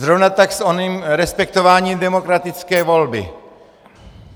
Zrovna tak s oním respektováním demokratické volby.